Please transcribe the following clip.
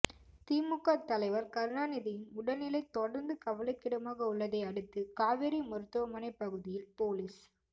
திமுக தலைவர் கருணாநிதியின் உடல்நிலை தொடர்ந்து கவலைக்கிடமாக உள்ளதை அடுத்து காவேரி மருத்துவமனை பகுதியில் போலீஸ்